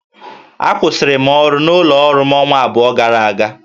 Akwụsịrị m ọrụ n'ụlọ ọrụ m ọnwa abụọ gara aga